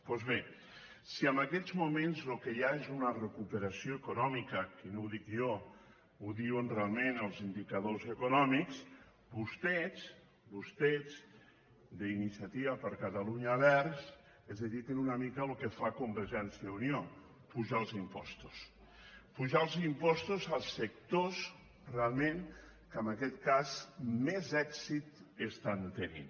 doncs bé si en aquests moments el que hi ha és una recuperació econòmica que no ho dic jo ho diuen realment els indicadors econòmics vostès vostès d’iniciativa per catalunya verds es dediquen una mica al que fa convergència i unió apujar els impostos apujar els impostos als sectors realment que en aquest cas més èxit estan tenint